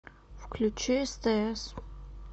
включи стс